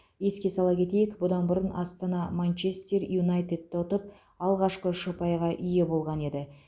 еске сала кетейік бұдан бұрын астана манчестер юнайтедті ұтып алғашқы үш ұпайға ие болған еді